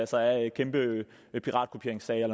sig af kæmpe piratkopieringssager